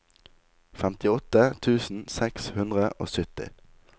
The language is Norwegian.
femtiåtte tusen seks hundre og sytti